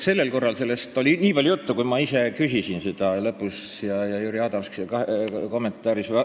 Sellel korral oli sellest nii palju juttu, kui ma ise selle kohta arutelu lõpus küsisin, ja oli juttu ka Jüri Adamsi kommentaaris.